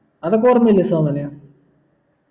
അതൊക്കെ ഓർമില്ലേ സോമന്